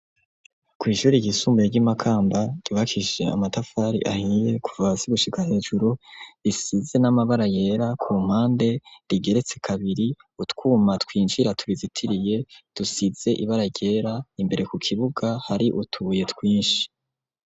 Kw'ishure ryisumbuye ry'i Makamba ryubakishije amatafari ahiye, kuva hasi gushika hejuru, risize n'amabara yera ku mpande, rigeretse kabiri. Utwuma twinjira tubizitiriye dusize ibara ryera. Imbere k'ukibuga hari utubuye twinshi.